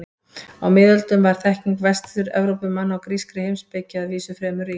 Á miðöldum var þekking Vestur-Evrópumanna á grískri heimspeki að vísu fremur rýr.